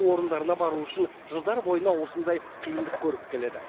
орындарына бару үшін жылдар бойына осындай қиындық көріп келеді